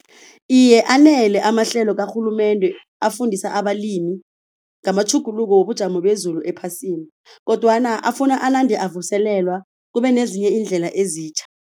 Iye anele amahlelo karhulumende afundisa abalimi ngamatjhuguluko wobujamo bezulu ephasini, kodwana afuna anande avuselelwa kube nezinye iindlela ezitjha.